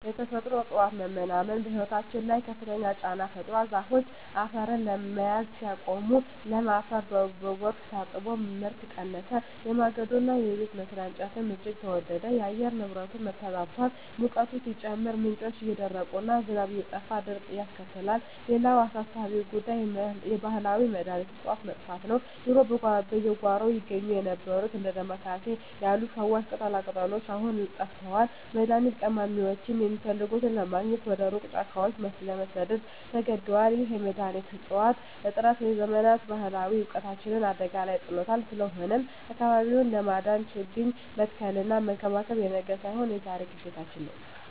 የተፈጥሮ እፅዋት መመናመን በሕይወታችን ላይ ከፍተኛ ጫና ፈጥሯል። ዛፎች አፈርን መያዝ ሲያቆሙ፣ ለም አፈር በጎርፍ ታጥቦ ምርት ቀነሰ፤ የማገዶና የቤት መስሪያ እንጨትም እጅግ ተወደደ። የአየር ንብረቱም ተዛብቷል፤ ሙቀቱ ሲጨምር፣ ምንጮች እየደረቁና ዝናብ እየጠፋ ድርቅን ያስከትላል። ሌላው አሳሳቢ ጉዳይ የባህላዊ መድኃኒት እፅዋት መጥፋት ነው። ድሮ በየጓሮው ይገኙ የነበሩት እንደ ዳማ ኬሴ ያሉ ፈዋሽ ቅጠላቅጠሎች አሁን ጠፍተዋል፤ መድኃኒት ቀማሚዎችም የሚፈልጉትን ለማግኘት ወደ ሩቅ ጫካዎች ለመሰደድ ተገደዋል። ይህ የመድኃኒት እፅዋት እጥረት የዘመናት ባህላዊ እውቀታችንን አደጋ ላይ ጥሎታል። ስለሆነም አካባቢውን ለማዳን ችግኝ መትከልና መንከባከብ የነገ ሳይሆን የዛሬ ግዴታችን ነው።